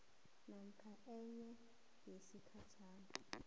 namkha e yesigatjana